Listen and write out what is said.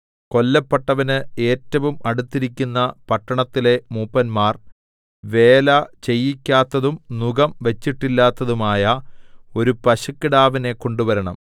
കൊല്ലപ്പെട്ടവന് ഏറ്റവും അടുത്തിരിക്കുന്ന പട്ടണത്തിലെ മൂപ്പന്മാർ വേല ചെയ്യിക്കാത്തതും നുകം വച്ചിട്ടില്ലാത്തതുമായ ഒരു പശുക്കിടാവിനെ കൊണ്ടുവരണം